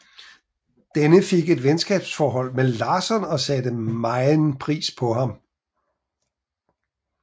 Denne fik et venskabsforhold med Lasson og satte megen pris på ham